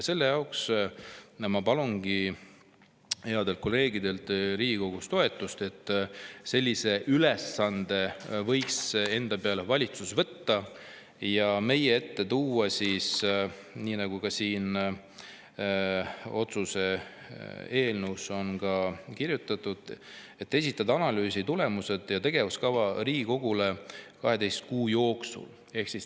Ma palungi headelt kolleegidelt Riigikogus toetust, et valitsus võiks sellise ülesande enda peale võtta ja meie ette tuua, nagu ka siin otsuse eelnõus on kirjutatud, analüüsi tulemused ja esitada Riigikogule 12 kuu jooksul tegevuskava.